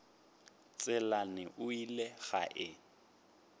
tselane o ile ge a